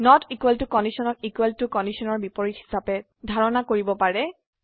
not equal to কন্ডিশনক equal to কন্ডিশনৰ বিপৰীত হিচাবে ধাৰণা কৰিব পাৰে